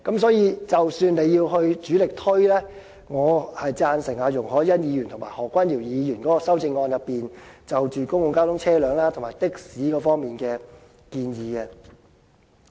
所以，即使要主力推廣，我贊成容海恩議員及何君堯議員的修正案所述，有關公共交通車輛及的士方面的建議。